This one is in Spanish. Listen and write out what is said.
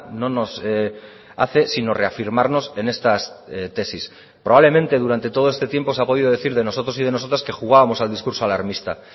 no nos hace sino reafirmarnos en estas tesis probablemente durante todo este tiempo se ha podido decir de nosotros y de nosotras que jugábamos al discurso alarmista